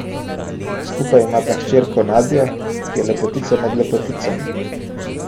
Skupaj imata hčerko Nadjo, ki je lepotica med lepoticami.